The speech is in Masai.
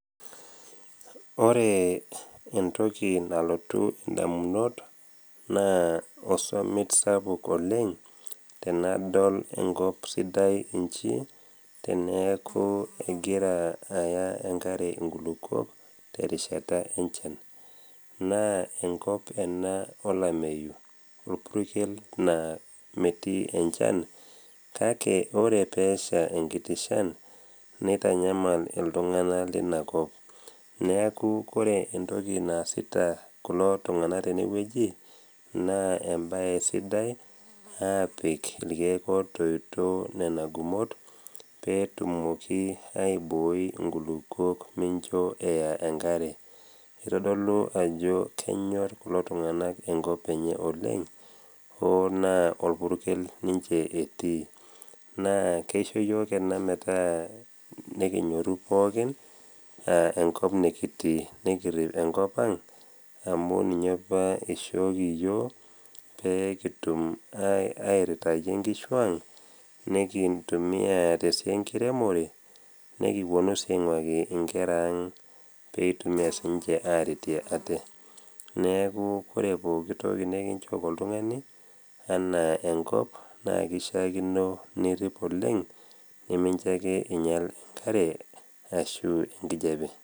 Ore entoki nalotu indamunot, naa osomit sapuk oleng tenadol enkop sidai inchi teneaku egira aya engare inkulukuok, terishata enchan. Naa enkop ena olameyu, olpurkel naa metii enchan, kake ore pee esha enkiti shan, neitanyamail iltung'ana lina kop. Neaku ore entoki naasita kulo tung'ana tenewueji naa embae sidai, apik ilkeek ootoito nena gumot, pee etumoki aibooi inkulukuok mincho eya engare. Eitodolu ajo kenyor kulo tung'ana enkop enye oleng o naa olpurkel ninche etii. Naa keisho yook ena metaa nekinyorru enkop nekitii, nekirip enkop ang' amu ninye apa eishooki iyook pee kitum airitayie inkishu ang' nekitumia tesiai enkiremore, nekiwuonu sii aing'uaki inkera ang pee ewuonu siininche aretie ate. Neaku ore pooki toki nekinchooki oltung'ani, naa eishaakino nirip oleng, minjo ake einyal enkare anaa enkijape.